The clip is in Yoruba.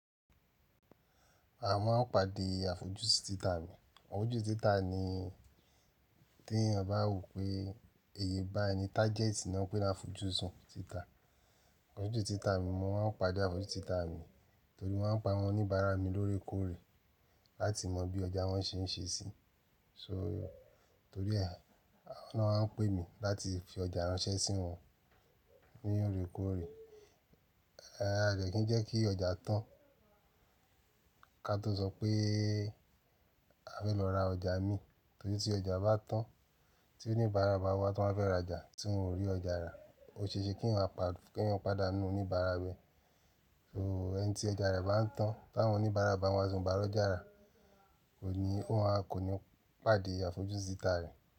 A máa ń pàdé àfojúsùn títà mi. Àfojúsùn títà ni tí ẹ̀yin ọba wò pé iye báyi ni tájẹ́tì náà pé láfojúsùn títà. Àfojúsùn títà mi, mo máa ń pàdé àfojúsùn títà mi torí mo maa ń pe wọ́n oníbàárà mi lóerekórè láti mọ̀ bí ọjà wọn ṣe ń ṣe sí. So torí ẹ, wọn maá ń pè mi láti fi ọjà ránṣẹ́ sí wọn ní oórè kórè. Eh à dè kí n jẹ́ kí ọjà tán, ká tó sọ pé a fẹ́ lọ ra ọjà mi, torí tí ọjà bá tán, tí oníbàárà bá wá tí wọ́n fẹ́ rajà tí wọn o rí ọjà rà, o ṣe ṣe kí eeyan pàdé, kí eeyan pàdàánú oníbàárà rẹ̀. So ẹni tí ọjà rẹ̀ bá ń tán, tí àwọn oníbàárà bá wá ti won o bá ro járà, òní wọn kò ní pàdé àfojúsùn títà rẹ̀